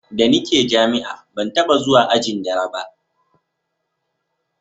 da ni ke jami'a ban taba zuwa ajin dare ba